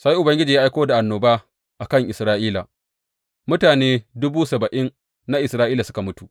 Sai Ubangiji ya aiko da annoba a kan Isra’ila, mutane duba saba’in na Isra’ila suka mutu.